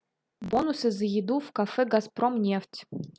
бонусы за еду в кафе газпромнефть